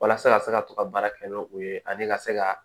Walasa ka se ka to ka baara kɛ n'o ye ani ka se ka